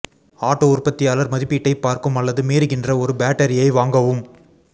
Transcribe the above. auto உற்பத்தியாளர் மதிப்பீட்டைப் பார்க்கும் அல்லது மீறுகின்ற ஒரு பேட்டரியை வாங்கவும்